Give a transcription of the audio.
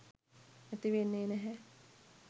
ඇති වෙන්නේ නැහැ.